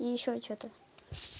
и ещё что-то